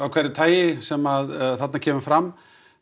hverju tagi sem þarna kemur fram